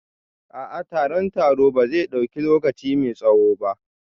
A'a, taron taro ba zai dauki lokaci mai tsawo ba